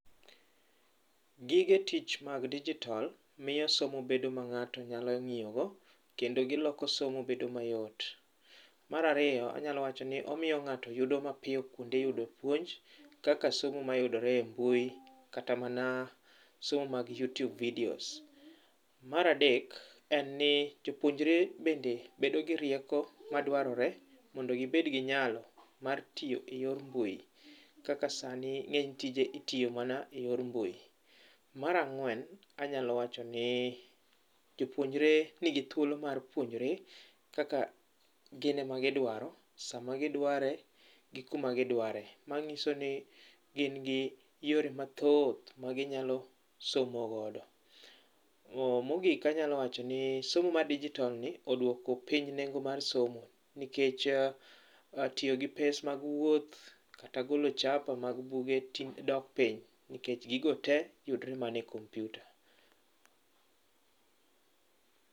Gige tich mag dijitol miyo somo bedo ma ng'ato nyalo ng'iyogo, kendo giloko somo bedo mayot. Mar ariyo anyalo wacho ni omiyo ng'ato yudo mapiyo kuonde ma iyude puonj kaka somo mayudore e mbui kata mana somo mag yutube, video. Mar adek, jopuonjre bende bedo gi rieko madwarore mondo gibed gi nyalo mar tiyo eyor mbui kaka sani ng'eny tije itiyo mana eyor mbui. Mar ang'wen anyalo wacho ni jopuonjre nigi thuolo mar puonjore kaka gin ema gidwaro, sama gidware kod kuma gidware. Mano nyiso ni gin kod yore mathoth magisomo godo. Mogik anyalo wacho ni somo mar dijitol ni oduoko piny nengo mar somo nikech tiyo gi pes mag wuoth kata golo chapa mag buge ting' dok piny nikech gigo tee yudore mana e kompiuta.